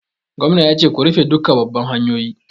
Gwamna ya ce 'Ku rufe duka babban hanyoyi'!